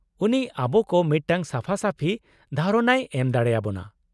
ᱩᱱᱤ ᱟᱵᱚ ᱠᱚ ᱢᱤᱫᱴᱟᱝ ᱥᱟᱯᱷᱟ ᱥᱟᱯᱷᱤ ᱫᱷᱟᱨᱚᱱᱟᱭ ᱮᱢ ᱫᱟᱲᱮᱭᱟᱵᱚᱱᱟ ᱾